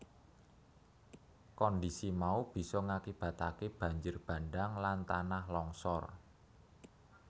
Kondhisi mau bisa ngakibataké banjir bandhang lan tanah longsor